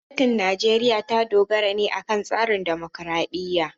Gwamnatin Najeriya ta dogara ne akan tsarin dimokuradiyya.